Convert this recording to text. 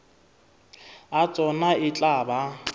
a tsona e tla ba